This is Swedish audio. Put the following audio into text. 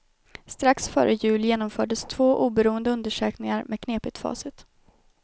Strax före jul genomfördes två oberoende undersökningar med knepigt facit.